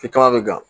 Fika bɛ gan